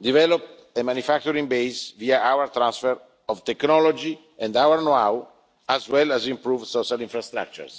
develop a manufacturing base via our transfer of technology and know how, as well as improving social infrastructures.